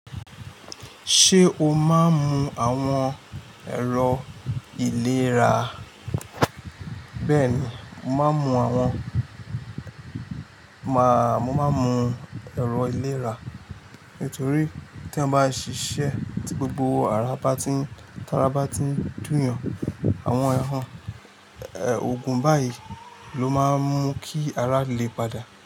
Ṣé o máa ń mu àwọn ẹ̀rọ ìlera? Bẹ́ẹ̀ni, mo máa ń mu àwọn, màá, mo máa ń mu ẹ̀rọ ìlera nítorí tí ẹyan bá ṣiṣẹ́ tí gbogbo ara bá ti ń, tí ara bá ti ń dùn yàn, àwọn ẹ́, ògùn báyìí ló máa ń mú kí ara lè padà.